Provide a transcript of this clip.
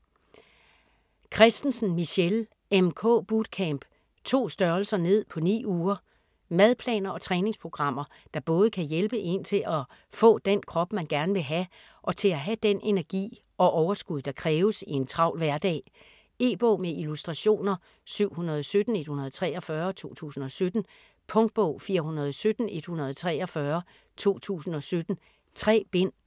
Kristensen, Michelle: MK bootcamp: 2 str. ned på 9 uger Madplaner og træningsprogrammer der både kan hjælpe én til at få den krop man gerne vil have, og til at have den energi og overskud der kræves i en travl hverdag. E-bog med illustrationer 717143 2017. Punktbog 417143 2017. 3 bind.